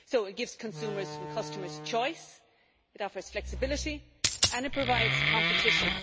It gives consumers and customers choice, it offers flexibility and it provides competition.